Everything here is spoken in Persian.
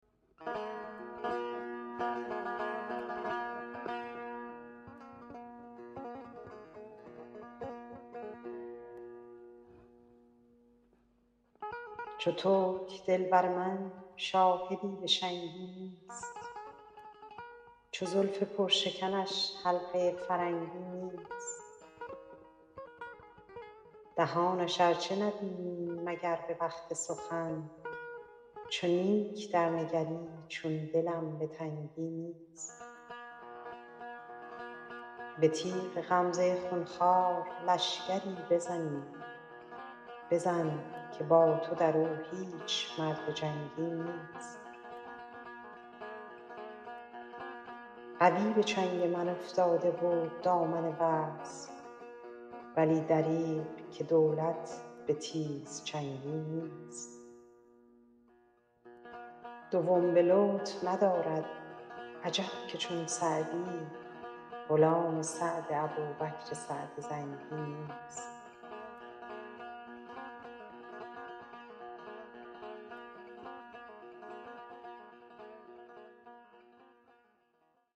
چو ترک دل بر من شاهدی به شنگی نیست چو زلف پرشکنش حلقه فرنگی نیست دهانش ار چه نبینی مگر به وقت سخن چو نیک درنگری چون دلم به تنگی نیست به تیغ غمزه خون خوار لشکری بزنی بزن که با تو در او هیچ مرد جنگی نیست قوی به چنگ من افتاده بود دامن وصل ولی دریغ که دولت به تیزچنگی نیست دوم به لطف ندارد عجب که چون سعدی غلام سعد ابوبکر سعد زنگی نیست